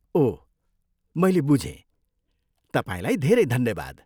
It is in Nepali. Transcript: ओह, मैले बुझेँ। तपाईँलाई धेरै धन्यवाद।